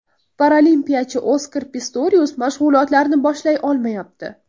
Paralimpiyachi Oskar Pistorius mashg‘ulotlarni boshlay olmayapti.